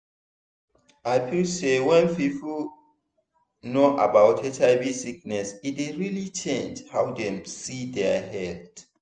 i feel say wen people know about hiv sickness e dey really change how dem see dia health